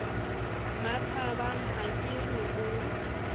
mmathabang ha ke re o